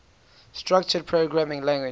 structured programming languages